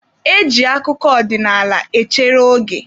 E ji akụkọ ọdịnaala echere oge.